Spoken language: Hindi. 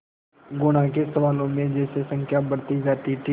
गुणा के सवालों में जैसे संख्या बढ़ती जाती थी